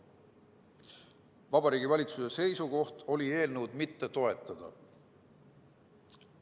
Vabariigi Valitsuse seisukoht oli eelnõu mitte toetada.